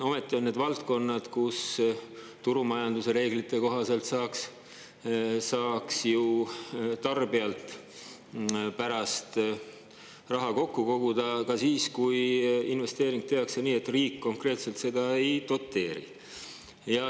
Ometi on need valdkonnad, kus turumajanduse reeglite kohaselt saaks ju tarbijalt pärast raha kokku koguda ka siis, kui investeering tehti nii, et riik konkreetselt seda ei doteerinud.